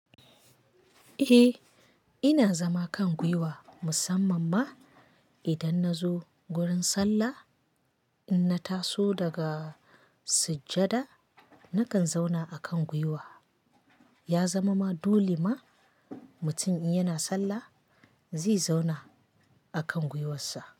Eh, ina zama kan gwiwa musamman ma idan na zo gurin sallah, in na taso daga sujjada nakan zauna akan gwiwa. Ya zama ma dole ma mutum in yana sallah, zai zauna akan gwiwarsa.